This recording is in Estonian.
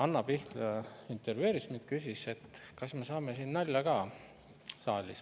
Anna Pihl intervjueeris mind ja küsis, kas me saame siin saalis nalja ka.